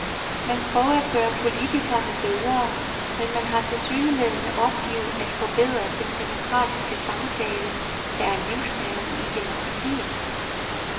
Man prøver at gøre politikerne bedre, men man har tilsyneladende opgivet at forbedre den demokratiske samtale, der er livsnerven i demokratiet.